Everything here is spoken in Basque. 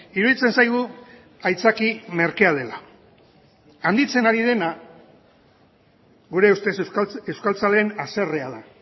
iruditzen zaigu aitzaki merkea dela handitzen ari dena gure ustez euskaltzaleen haserrea da